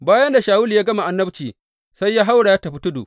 Bayan da Shawulu ya gama annabci sai ya haura ya tafi tudu.